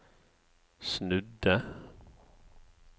snudde